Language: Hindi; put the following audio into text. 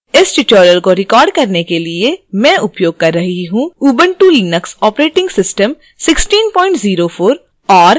इस tutorial को record करने के लिए मैं उपयोग कर रही हूँ उबंटु लिनक्स operating system 1604